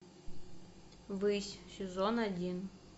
высь сезон один